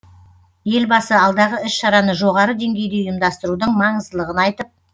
елбасы алдағы іс шараны жоғары деңгейде ұйымдастырудың маңыздылығын айтып